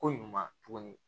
Ko ɲuman tuguni